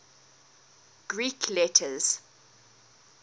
greek letters